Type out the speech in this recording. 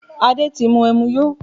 Adé ti mú ẹmu yó